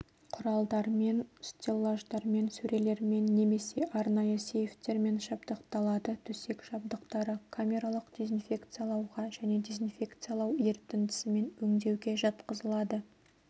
құралдарымен стеллаждармен сөрелермен немесе арнайы сейфтермен жабдықталады төсек жабдықтары камералық дезинфекциялауға және дезинфекциялау ерітіндісімен өңдеуге жатқызылады